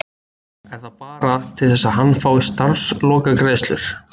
Er það bara til að hann fái starfslokagreiðslur?